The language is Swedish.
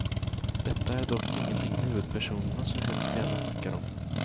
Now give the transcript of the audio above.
Detta är dock ingenting huvudpersonerna så hemskt gärna snackar om.